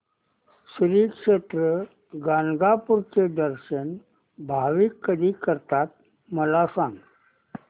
श्री क्षेत्र गाणगापूर चे दर्शन भाविक कधी करतात मला सांग